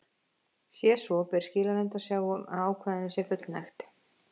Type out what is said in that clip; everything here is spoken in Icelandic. Sé svo ber skilanefnd að sjá um að ákvæðinu sé fullnægt.